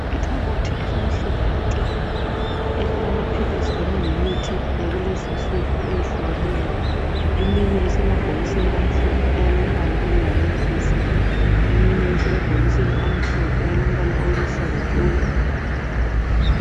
Ikhabothi elimhlophe nke elilamaphilisi kanye lemithi yakulezinsuku kuleyehlukeneyo eminye isemabhokisisni alombala olihalantshisi eminye isemabhokisini amhlophe alombala oluhlaza tshoko.